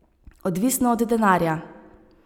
Odvisno od denarja.